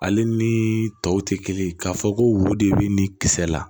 Ale ni tɔw tɛ kelen k'a fɔ ko wo de bɛ ni kisɛ la